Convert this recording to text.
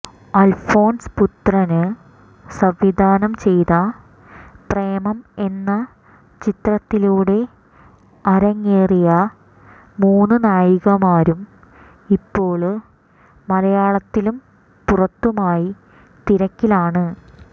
അല്ഫോണ്സ് പുത്രന് സംവിധാനം ചെയ്ത പ്രേമം എന്ന ചിത്രത്തിലൂടെ അറങ്ങേറിയ മൂന്ന് നായികമാരും ഇപ്പോള് മലയാളത്തിലും പുറത്തുമായി തിരക്കിലാണ്